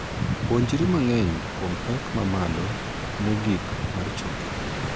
Puonjri mang'eny kuom pek ma malo mogik mar choke.